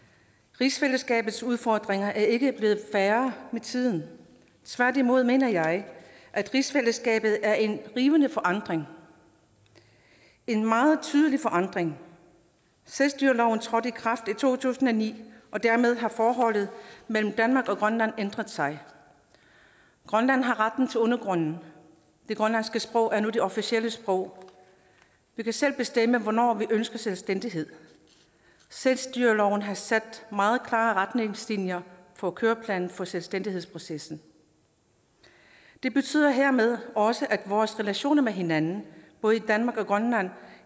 rigsfællesskabets udfordringer er ikke blevet færre med tiden tværtimod mener jeg at rigsfællesskabet er i rivende forandring en meget tydelig forandring selvstyreloven trådte i kraft i to tusind og ni og dermed har forholdet mellem danmark og grønland ændret sig grønland har retten til undergrunden det grønlandske sprog er nu det officielle sprog vi kan selv bestemme hvornår vi ønsker selvstændighed selvstyreloven har sat meget klare retningslinjer for køreplanen for selvstændighedsprocessen det betyder hermed også at vores relationer med hinanden både i danmark og grønland